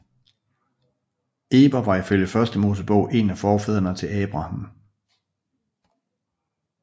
Eber var ifølge Første Mosebog en af forfædrene til Abraham